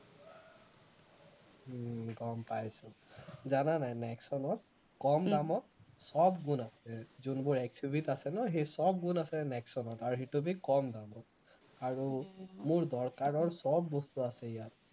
উম গম পাইছো, জানা নাই নেক্সনত কম দামত সৱ গুণ আছে যোনবোৰ XUV ত আছে নহয় সেই সৱ গুণ আছে নেক্সনত আৰু সেইটোকে কম দামত আৰু মোৰ দৰকাৰৰ সৱ বস্তু আছে ইয়াত